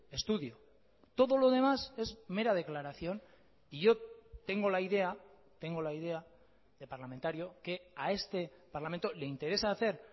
estudio todo lo demás es mera declaración y yo tengo la idea tengo la idea de parlamentario que a este parlamento le interesa hacer